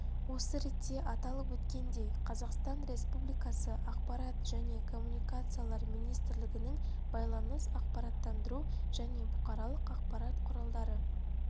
осы ретте аталып өткендей қазақстан республикасы ақпарат және коммуникациялар министрлігінің байланыс ақпараттандыру және бұқаралық ақпарат құралдары